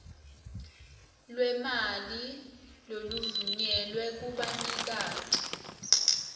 lwemali loluvunyelwe kubanikati